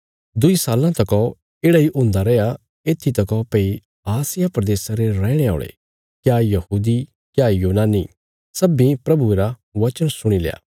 दुईं साल्लां तका येढ़ा इ हुंदा रैया येत्थी तका भई आसिया प्रदेशा रे रैहणे औल़े क्या यहूदी क्या यूनानी सब्बीं प्रभुये रा वचन सुणी लया